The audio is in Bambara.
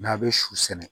N'a bɛ su sɛnɛ